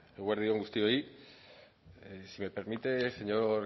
eguerdi on guztioi si me permite señor